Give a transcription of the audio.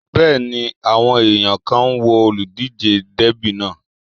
Bẹ́ẹ̀ni, àwọn èèyàn kan ń wo olùdíjé Dẹ́bì náà